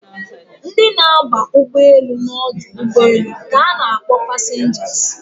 Ndị na aba ụgbọelu na ọdụ ụgbọelu ka na akpọ passengers